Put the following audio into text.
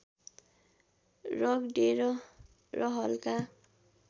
रगडेर र हल्का